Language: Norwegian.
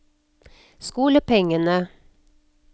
skolepengene